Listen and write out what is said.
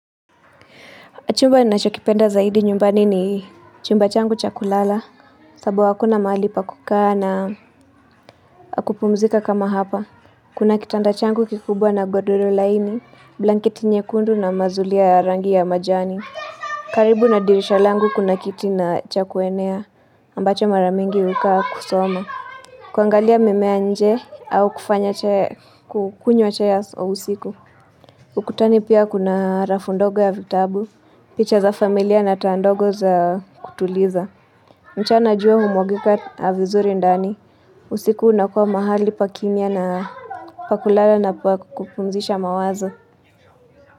Chumba ninachokipenda zaidi nyumbani ni chumba changu cha kulala. Kwa sababu hakuna mahali pa kukaa na wakupumzika kama hapa. Kuna kitanda changu kikubwa na godoro laini, blanketi nyekundu na mazulia ya rangi ya majani. Karibu na dirisha langu kuna kiti na cha kuenea ambacho mara mingi huikalia kusoma. Kuangalia mimea nje au kufanya kukunywa chai usiku. Ukutani pia kuna rafu ndogo ya vitabu. Picha za familia na taa ndogo za kutuliza mchana jua humwagika vizuri ndani usiku unakuwa mahali pa kimya na pa kulala na pa kupumzisha mawazo.